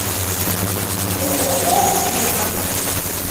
ооо вега